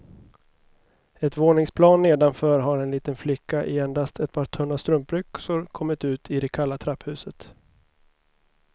Ett våningsplan nedanför har en liten flicka i endast ett par tunna strumpbyxor kommit ut i det kalla trapphuset.